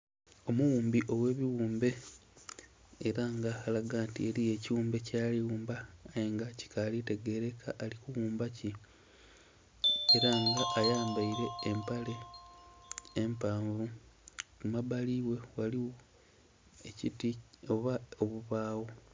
Omughumbi oghe bighumbe era nga alaga nti eriyo ekighumbe kyali ku ghumba aye nga kikali tegerekeka ali kughumba ki era nga ayambaire empale empaavu, ku mabali ghe ghaligho ekiti oba obubagho.